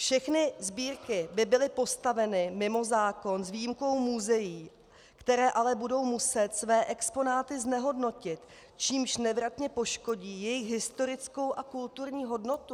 Všechny sbírky by byly postaveny mimo zákon s výjimkou muzeí, která ale budou muset své exponáty znehodnotit, čímž nevratně poškodí jejich historickou a kulturní hodnotu.